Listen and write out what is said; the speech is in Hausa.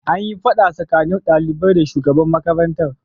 An yi fada tsakanin daliban da shugaban makarantar.